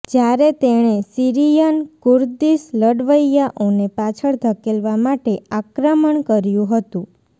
જયારે તેણે Syrian Kurdish લડવૈયાઓને પાછળ ધકેેલવા માટે આક્રમણ કર્યું હતુ